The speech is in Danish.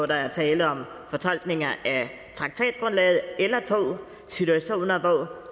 der er tale om fortolkninger af traktatgrundlaget eller i situationer hvor